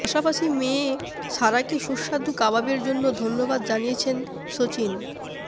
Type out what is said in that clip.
পাশাপাশি মেরে সারাকে সুস্বাদু কাবাবের জন্য ধন্যবাদ জানিয়েছেন সচিন